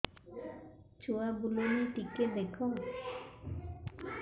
ଛୁଆ ବୁଲୁନି ଟିକେ ଦେଖ